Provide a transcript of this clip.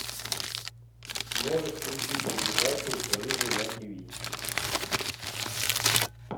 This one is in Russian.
можешь включить передачу рыжий на тиви